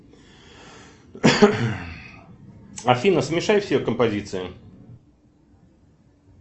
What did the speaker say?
афина смешай все композиции